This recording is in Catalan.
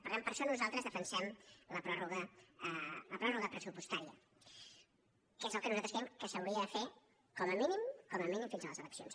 per tant per això nosaltres defensem la pròrroga pressupostària que és el que nosaltres creiem que s’hauria de fer com a mínim com a mínim fins a les eleccions